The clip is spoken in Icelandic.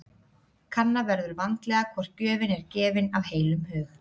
Kanna verður vandlega hvort gjöfin er gefin af heilum hug.